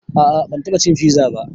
A'a ban taɓa cin fiza ba